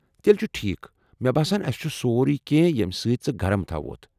تیٚلہِ چُھ ٹھیٖکھ، مےٚ باسان اسہِ چُھ سورُے کینٛہہ ییٚمہِ سۭتۍ ژٕ گرم تھاووتھ ۔